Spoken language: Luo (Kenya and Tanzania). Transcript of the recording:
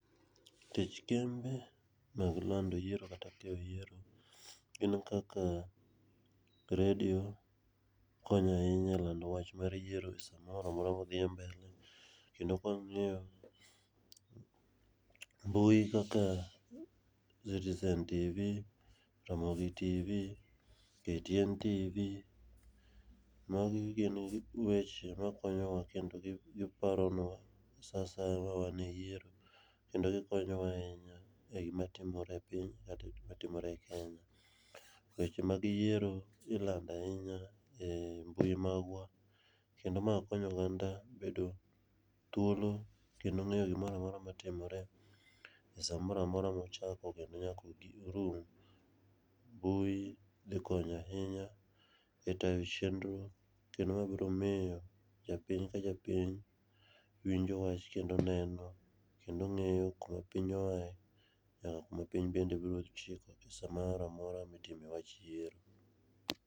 Tich kembe mag lando yiero kata timo yiero gin kaka redio konyo ahinya elando wach mar yiero samoro amora ma odhiye mbele. Kendo kaka wang'eyo, mbui kaka sitesen TV, Ramogi TV,KTN TV, magi gin weche ma konyowa kendo giparonua saa asaya ma wan e yiero kendo gikonyowa ahinya e gima timore e piny kata e gima timore e Kenya. Nikech weche mag yiero ilando ahinya e mbui magwa kendo ma konyo oganda bEdo thuolo kendo ng'eyo gimoro amora matimore samora amora mochako kendo nyaka orum. Mbui dhi konyo ahinya e tayo chenro kendo mae biro miyo japiny ka japiny winjo wach kendo neno kendo ng'eyo kuma piny oaye kendo kuma piny bende biro chiko samoro amora mitimo wach yiero.